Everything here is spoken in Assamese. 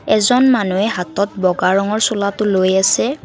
এজন মানুহে হাতত বগা ৰঙৰ চোলাটোলৈ আছে।